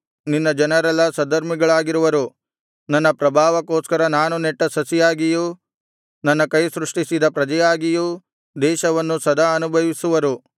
ನಿನ್ನ ಜನರೆಲ್ಲಾ ಸದ್ಧರ್ಮಿಗಳಾಗಿರುವರು ನನ್ನ ಪ್ರಭಾವಕ್ಕೋಸ್ಕರ ನಾನು ನೆಟ್ಟ ಸಸಿಯಾಗಿಯೂ ನನ್ನ ಕೈ ಸೃಷ್ಟಿಸಿದ ಪ್ರಜೆಯಾಗಿಯೂ ದೇಶವನ್ನು ಸದಾ ಅನುಭವಿಸುವರು